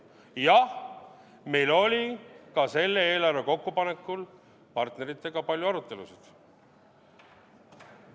Jah, meil oli ka selle eelarve kokkupanekul partneritega palju arutelusid.